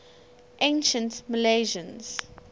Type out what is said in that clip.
ancient milesians